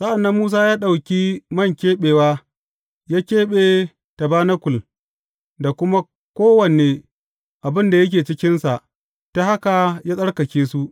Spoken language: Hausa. Sa’an nan Musa ya ɗauki man keɓewa ya keɓe tabanakul da kuma kowane abin da yake cikinsa, ta haka ya tsarkake su.